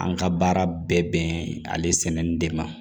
An ka baara bɛɛ bɛn ale sɛmɛni de ma